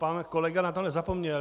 Pan kolega na to nezapomněl.